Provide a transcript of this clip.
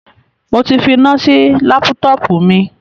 Mo ti finá sí lápútọpù mi.